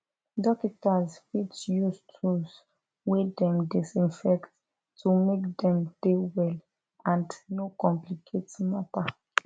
dokitas fit use tools wey dem disinfect to make dem dey well and no complicate matter